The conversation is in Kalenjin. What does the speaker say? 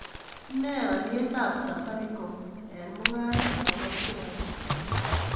Ne olyietab Safaricom eng' mung'aret ne po sheaiit